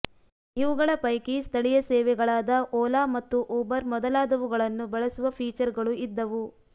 ಇವುಗಳ ಪೈಕಿ ಸ್ಥಳೀಯ ಸೇವೆಗಳಾದ ಓಲಾ ಮತ್ತು ಊಬರ್ ಮೊದಲಾದವುಗಳನ್ನು ಬಳಸುವ ಫೀಚರ್ಗಳೂ ಇದ್ದವು